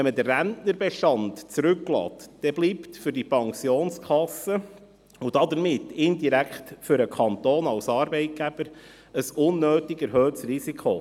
Wenn man den Rentnerbestand zurücklässt, dann bleibt für diese Pensionskasse, und damit indirekt für den Kanton als Arbeitgeber, ein unnötig erhöhtes Risiko.